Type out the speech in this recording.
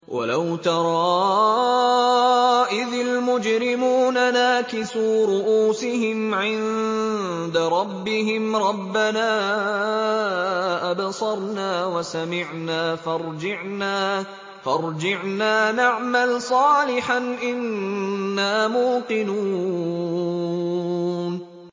وَلَوْ تَرَىٰ إِذِ الْمُجْرِمُونَ نَاكِسُو رُءُوسِهِمْ عِندَ رَبِّهِمْ رَبَّنَا أَبْصَرْنَا وَسَمِعْنَا فَارْجِعْنَا نَعْمَلْ صَالِحًا إِنَّا مُوقِنُونَ